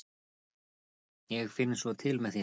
ég fann svo til með þér!